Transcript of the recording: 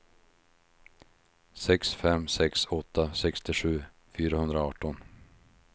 sex fem sex åtta sextiosju fyrahundraarton